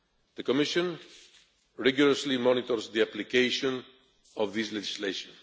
The Commission rigorously monitors the application of this legislation.